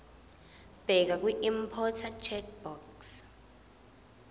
bheka kwiimporter checkbox